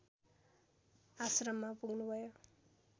आश्रममा पुग्नुभयो